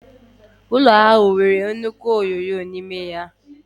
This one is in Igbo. Ụlọ nkwari akụ ahụ nwere nnukwu ihé onyoonyo n'ime ụlọ ahụ